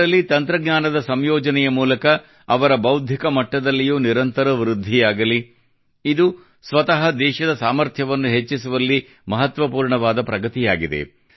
ಇದರಲ್ಲಿ ತಂತ್ರಜ್ಞಾನದ ಸಂಯೋಜನೆಯ ಮೂಲಕ ಅವರ ಬೌದ್ಧಿಕ ಮಟ್ಟದಲ್ಲಿಯೂ ನಿರಂತರ ವೃದ್ಧಿಯಾಗಲಿ ಇದು ಸ್ವತಃ ದೇಶದ ಸಾಮರ್ಥ್ಯವನ್ನು ಹೆಚ್ಚಿಸುವಲ್ಲಿ ಮಹತ್ವಪೂರ್ಣವಾದ ಪ್ರಗತಿಯಾಗಿದೆ